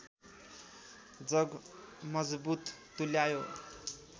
जग मजबुत तुल्यायो